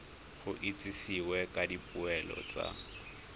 go itsisiwe ka dipoelo tsa